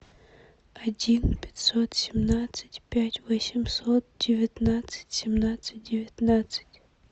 один пятьсот семнадцать пять восемьсот девятнадцать семнадцать девятнадцать